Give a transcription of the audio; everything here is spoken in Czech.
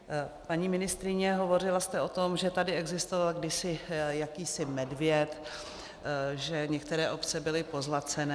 Paní ministryně, hovořila jste o tom, že tady existoval kdysi jakýsi medvěd, že některé obce byly pozlacené.